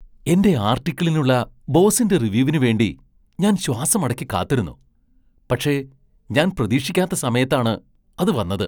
എന്റെ ആർട്ടിക്കിളിനുള്ള ബോസിന്റെ റിവ്യൂവിന് വേണ്ടി ഞാൻ ശ്വാസമടക്കി കാത്തിരുന്നു, പക്ഷേ ഞാൻ പ്രതീക്ഷിക്കാത്ത സമയത്താണ് അത് വന്നത്.